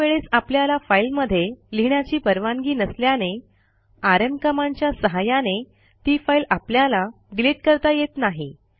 काही वेळेस आपल्याला फाईलमध्ये लिहिण्याची परवानगी नसल्याने आरएम कमांडच्या सहाय्याने ती फाईल आपल्याला डिलिट करता येत नाही